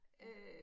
Ja